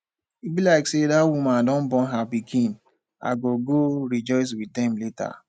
e be like say dat woman don born her pikin i go go rejoice with dem later